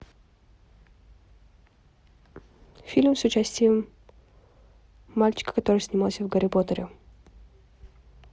фильм с участием мальчика который снимался в гарри поттере